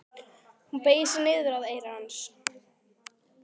Hún beygir sig niður að eyra hans.